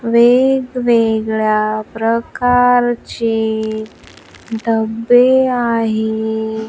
वेगवेगळ्या प्रकारचे डब्बे आहे.